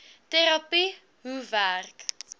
terapie hoe werk